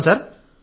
చెప్తాం సార్